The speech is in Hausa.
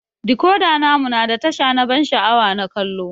Decoda namu na da tasha na ban sha'awa na kallo.